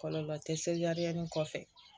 Kɔlɔlɔ tɛ se a ni kɔfɛ